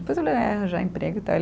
Depois ele vai arranjar emprego e tal.